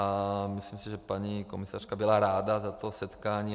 A myslím si, že paní komisařka byla ráda za to setkání.